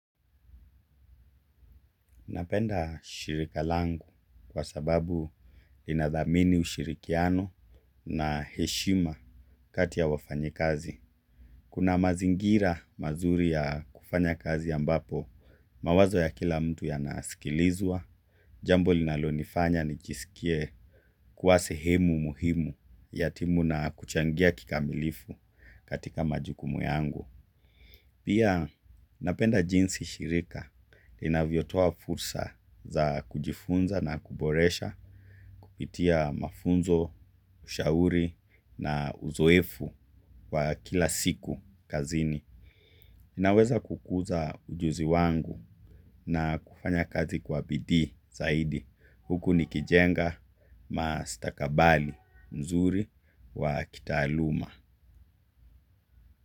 Napenda shirika langu kwa sababu linathamini ushirikiano na heshima kati ya wafanyikazi. Kuna mazingira mazuri ya kufanya kazi ambapo mawazo ya kila mtu yanasikilizwa. Jambo linalonifanya nijisikie kuwa sehemu muhimu ya timu na kuchangia kikamilifu katika majukumu yangu. Pia napenda jinsi shirika inavyotoa fursa za kujifunza na kuboresha kupitia mafunzo, ushauri na uzoefu wa kila siku kazini. Ninaweza kukuza ujuzi wangu na kufanya kazi kwa bidii zaidi. Huku nikijenga mastakabali nzuri wa kitaaluma.